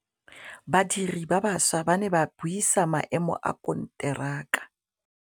Badiri ba baša ba ne ba buisa maêmô a konteraka.